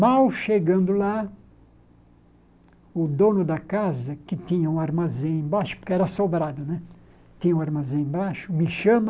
Mal chegando lá, o dono da casa, que tinha um armazém embaixo, porque era sobrado né, tinha um armazém embaixo, me chama,